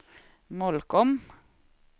Molkom